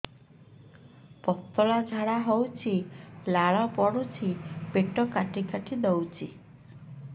ପତଳା ଝାଡା ହଉଛି ଲାଳ ପଡୁଛି ପେଟ କାଟି କାଟି ଦଉଚି